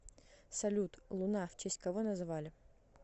салют луна в честь кого назвали